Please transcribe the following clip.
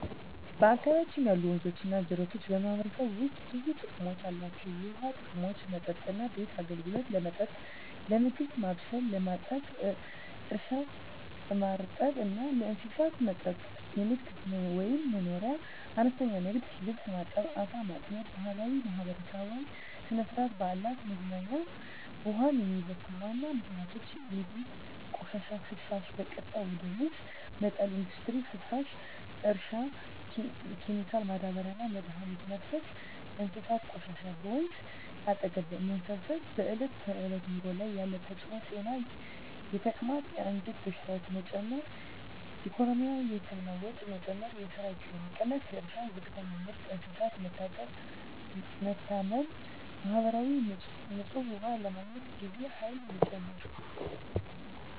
በአካባቢያችን ያሉ ወንዞችና ጅረቶች በማህበረሰቡ ውስጥ ብዙ ጥቅሞች አላቸው፣ የውሃ ጥቅሞች መጠጥና ቤት አገልግሎት – ለመጠጥ፣ ለምግብ ማብሰል፣ ለማጠብ እርሻ – ማርጠብ እና ለእንስሳት መጠጥ ንግድ/መኖርያ – አነስተኛ ንግድ (ልብስ ማጠብ፣ ዓሣ ማጥመድ) ባህላዊና ማህበራዊ – ሥነ-ሥርዓት፣ በዓላት፣ መዝናኛ ውሃን የሚበክሉ ዋና ምክንያቶች የቤት ቆሻሻና ፍሳሽ – በቀጥታ ወደ ወንዝ መጣል ኢንዱስትሪ ፍሳሽ – እርሻ ኬሚካሎች – ማዳበሪያና መድኃኒት መፍሰስ እንስሳት ቆሻሻ – በወንዝ አጠገብ መሰብሰብ በዕለት ተዕለት ኑሮ ላይ ያለ ተጽዕኖ ጤና – የተቅማጥ፣ የአንጀት በሽታዎች መጨመር ኢኮኖሚ – የህክምና ወጪ መጨመር፣ የስራ ጊዜ መቀነስ እርሻ – ዝቅተኛ ምርት፣ እንስሳት መታመም ማህበራዊ – ንጹህ ውሃ ለማግኘት ጊዜና ኃይል መጨመር